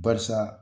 Barisa